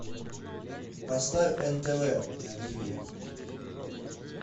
поставь нтв на тиви